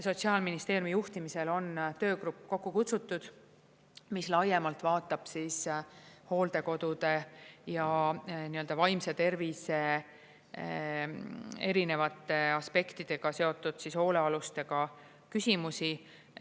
Sotsiaalministeeriumi juhtimisel on töögrupp kokku kutsutud, mis laiemalt vaatab hooldekodude ja vaimse tervise erinevate aspektidega seotud hoolealustega küsimusi.